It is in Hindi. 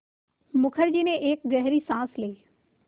मुखर्जी ने एक गहरी साँस ली